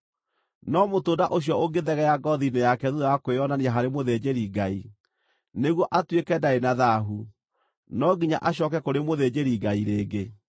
No mũtũnda ũcio ũngĩthegea ngoothi-inĩ yake thuutha wa kwĩonania harĩ mũthĩnjĩri-Ngai, nĩguo atuĩke ndarĩ na thaahu, no nginya acooke kũrĩ mũthĩnjĩri-Ngai rĩngĩ.